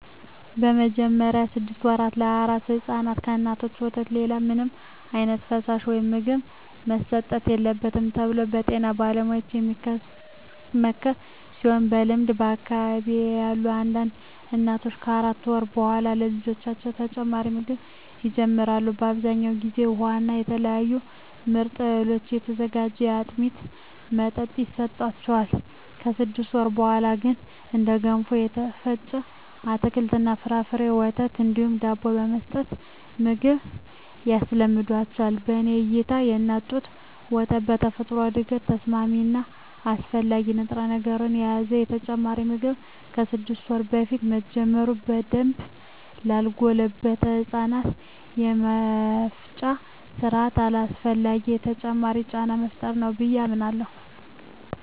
በመጀመሪያዎቹ ስድስት ወራ ለአራስ ሕፃናት ከእናቶች ወተት ሌላ ምንም ዓይነት ፈሳሽ ወይም ምግብ መሰጠት የለበትም ተብሎ በጤና ባለሙያዎች የሚመከር ቢሆንም በልምድ በአካባቢየ ያሉ አንዳንድ እናቶች ከአራት ወር በኃላ ለልጆቻቸው ተጨማሪ ምግብ ይጀምራሉ። በአብዛኛው ጊዜ ውሃ እና ከተለያዩ ምጥን እህሎች የሚዘጋጅ የአጥሚት መጠጥ ይሰጣቸዋል። ከስድስት ወር በኀላ ግን እንደ ገንፎ፣ የተፈጨ አትክልት እና ፍራፍሬ፣ ወተት እንዲሁም ዳቦ በመስጠት ምግብ ያስለምዷቸዋል። በኔ እይታ የእናት ጡት ወተት በተፈጥሮ ለእድገት ተስማሚ እና አስፈላጊ ንጥረነገሮችን ስለያዘ ተጨማሪ ምግብ ከስድስት ወር በፊት መጀመር በደንብ ላልጎለበተው የህፃናቱ የመፍጫ ስርአት አላስፈላጊ ተጨማሪ ጫና መፍጠር ነው ብየ አምናለሁ።